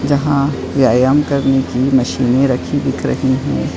जहाँ व्यायाम करने की मशीनें रखी दिख रही हैं।